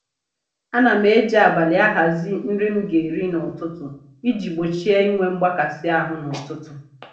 Ana m eji abalị ahazi nri m ga-eri n'ụtụtụ iji gbochie inwe mgbakasị ahụ n'ụtụtụ